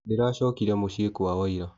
Ndĩracokire mũcĩĩ kwao ira.